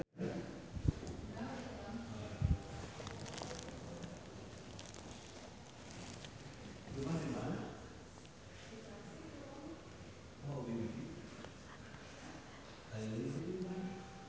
Arzetti Bilbina jeung Fernando Torres keur dipoto ku wartawan